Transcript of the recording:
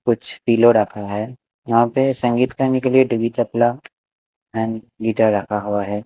कुछ पीलो रखा है यहां पे संगीत करने के लिए तबला एंड गिटार रखा हुआ है।